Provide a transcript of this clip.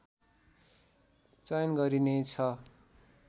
चयन गरिने छ